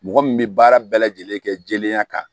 Mɔgɔ min bɛ baara bɛɛ lajɛlen kɛ jɛlenya kan